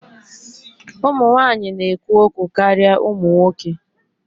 Ụmụ nwanyị na-ekwu okwu karịa ụmụ nwoke